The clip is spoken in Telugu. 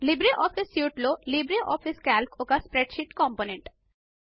లిబ్రే ఆఫీస్ సూట్ లో లిబ్రే ఆఫీస్ కాల్క్ ఒక స్ప్రెడ్ షీట్ కాంపోనెంట్